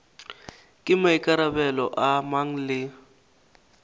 ke maikarabelo a mang le